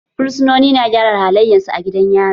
Fursunoni na gyara halayensu a gidan yari.